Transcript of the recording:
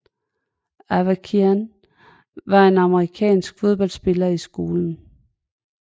Avakian var en amerikansk fodboldspiller i skolen